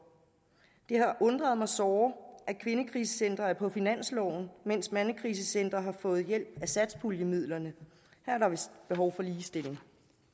det har undret mig såre at kvindekrisecentre er på finansloven mens mandekrisecentre har fået hjælp af satspuljemidlerne her er der vist behov for ligestilling